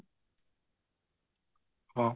ହଁ